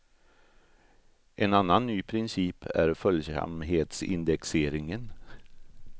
En annan ny princip är följsamhetsindexeringen.